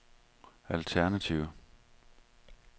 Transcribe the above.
alternative